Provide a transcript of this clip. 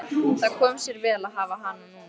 Það kom sér vel að hafa hana núna.